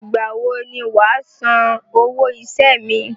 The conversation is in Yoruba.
Ìgbàwo ni wà á san owó iṣẹ́ mi?